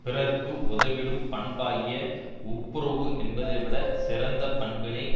பிறர்க்கு உதவிடும் பண்பாகிய ஒப்புரவு என்பதைவிடச் சிறந்த பண்பினை